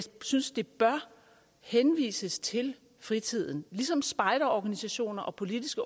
synes det bør henvises til fritiden ligesom spejderorganisationer og politiske